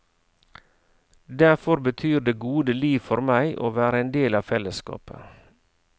Derfor betyr det gode liv for meg å være en del av fellesskapet.